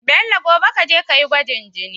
Bello gobe kaje kayi gwajin jini